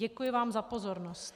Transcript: Děkuji vám za pozornost.